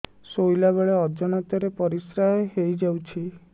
ଶୋଇଲା ବେଳେ ଅଜାଣତ ରେ ପରିସ୍ରା ହେଇଯାଉଛି